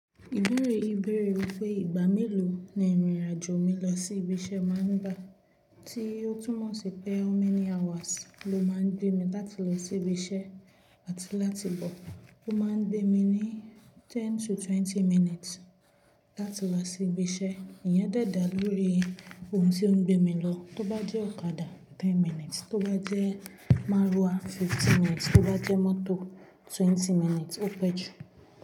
Ìbéèrè yìí béèrè wípé ìgbà mélòó ni ìrìn àjò mi lọ sí ibiṣẹ́ máa ń gbà? Tí ó túmọ̀ sí pé how many hours ló máa ń gbé mi láti lọ sí ibiṣẹ́ àti láti bọ̀. Ó máa ń gbé mi ní ten to twenty minutes láti wá sí ibiṣẹ́. Ìyen dè da lórí ohun tó ń gbé mi lọ. Tó bá jẹ́ ọ̀kadà ten minutes, tó bá jẹ́ márúwá fifteen minutes, tó bá jẹ́ mọ́tò twenty minutes ó pẹ́ jù.